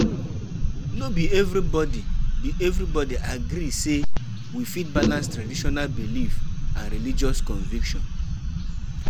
To fit balance di two, person go know how to find wetin fit work for inside di two